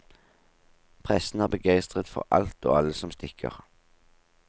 Pressen er begeistret for alt og alle som stikker.